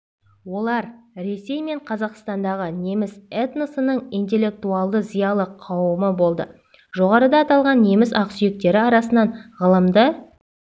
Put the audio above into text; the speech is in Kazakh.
олар ресей мен қазақстандағы неміс этносының интеллектуалды зиялы қауымы болды жоғарыда аталған неміс ақсүйектері арасынан ғылымды